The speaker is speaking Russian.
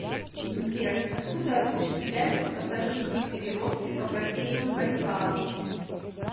сбер откуда осуществляются пассажирские перевозки по бассейну байкала